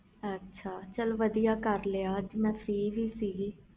ਚਲ ਵਧੀਆ ਕਰ ਲਿਆ ਅਜੇ ਮੈਂ ਫ੍ਰੀ ਵੀ ਸੀ